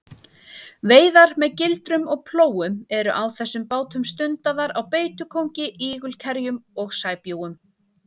Veiðar með gildrum og plógum eru á þessum bátum stundaðar á beitukóngi, ígulkerjum og sæbjúgum.